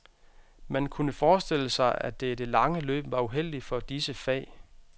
Man kunne forestille sig, at det i det lange løb var uheldigt for disse fag.